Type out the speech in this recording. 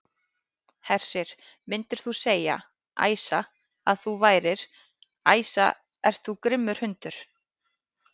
Hersir: Myndir þú segja, Æsa, að þú værir, Æsa ert þú grimmur hundur?